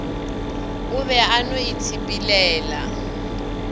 o be o no itshepelela